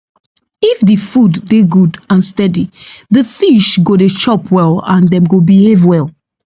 if the food dey good and steady the fish go dey chop well and dem go behave well